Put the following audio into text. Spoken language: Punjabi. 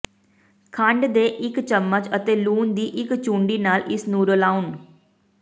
ਖੰਡ ਦੇ ਇੱਕ ਚਮਚ ਅਤੇ ਲੂਣ ਦੀ ਇੱਕ ਚੂੰਡੀ ਨਾਲ ਇਸ ਨੂੰ ਰਲਾਉਣ